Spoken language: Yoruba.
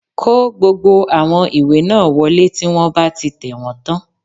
Kó gbogbo àwọn ìwé náà wọlé tí wọ́n bá ti tẹ̀wọ́n tán